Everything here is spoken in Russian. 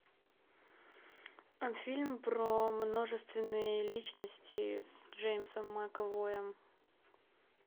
фильм про множественные личности с джеймсом макэвоем